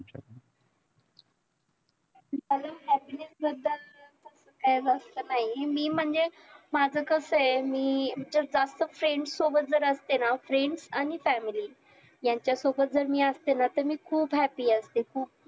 मला happiness बद्दल तसं काही जास्त नाही मी म्हणजे माझं कसं हाय कि जास्त friends सोबत जर असते ना friends आणि family ह्याच्या सोबत मी असते ना तर मी खुप happy असते